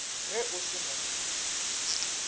ge o se na pin